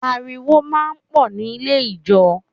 Ariwo máa ń pọ̀ nílé ijó